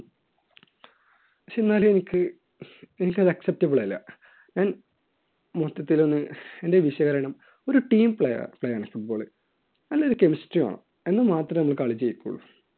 പക്ഷേ എന്നാലും എനിക്ക് എനിക്ക് അത് acceptable അല്ല. ഞാൻ മൊത്തത്തിൽ ഒന്ന് എൻറെ വിശകലനം ഒരു team play യാണ് football നല്ലൊരു കെമിസ്ട്രി വേണം. എന്നാൽ മാത്രമേ നമ്മൾ കളി ജയിക്കുള്ളു.